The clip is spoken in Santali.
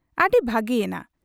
ᱟᱹᱰᱤ ᱵᱷᱟᱹᱜᱤᱭᱮᱱᱟ ᱾